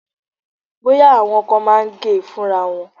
Bóyá, àwọn kan máa ń gẹ̀ ẹ́ fúnra wọn.